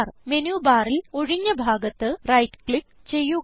menu barൽ ഒഴിഞ്ഞ ഭാഗത്ത് റൈറ്റ് ക്ലിക്ക് ചെയ്യുക